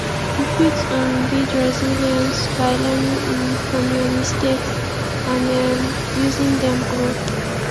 you fit um build resilience by learning um from your mistakes and um using dem grow